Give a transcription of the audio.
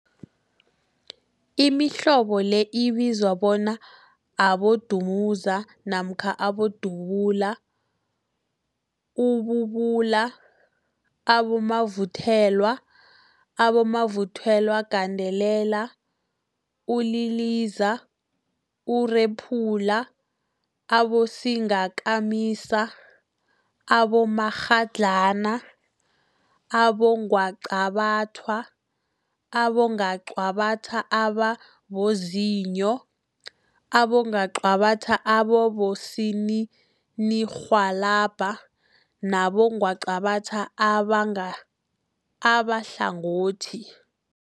Imihlobo le ibizwa bona, abodumuza namkha bodubula, ububula, abomavuthelwa, abomavuthelwagandelela, uliliza, urephula, abosingakamisa, abomakghadlana, abongwaqabathwa, abongwaqabathwa ababozinyo, abongwaqabathwa abosininirhwalabha nabongwaqabatha abahlangothi.